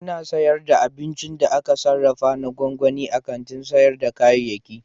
Ana sayar da abincin da aka sarrafa na gwangwani a kantin sayar da kayayyaki.